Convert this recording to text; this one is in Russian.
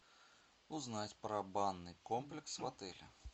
узнать про банный комплекс в отеле